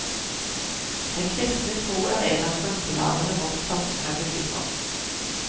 Den kristne tro er en av grunnpilarene vårt samfunn er bygget på.